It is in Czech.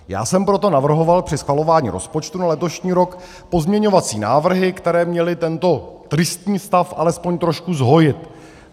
Já jsem proto navrhoval při schvalování rozpočtu na letošní rok pozměňovací návrhy, které měly tento tristní stav alespoň trošku zhojit.